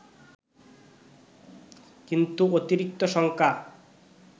কিন্তু অতিরিক্ত শঙ্কা